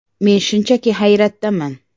“Men shunchaki hayratdaman.